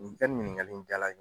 I ka nin ɲininkali in jala n ye.